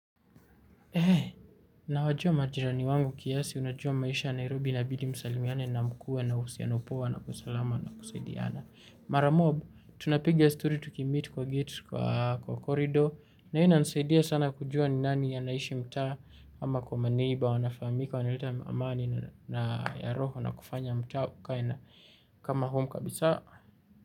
Nawajua majirani wangu kiasi, unajua maisha ya Nairobi inabidi msalimiane na mkue na uhusiano poa na usalama na kusaidiana. Mara mob, tunapigia story tukimit kwa gate kwa korido. Na hii inanisaidia sana kujua ni nani anaishi mtaa ama kwa maneiba, wanafahamika, wanileta amani na ya roho na kufanya mtaa ukae na kama home kabisa.